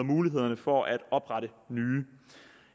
mulighederne for at oprette nye